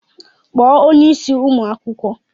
Kpọọ onye isí ụmụ akwụkwọ!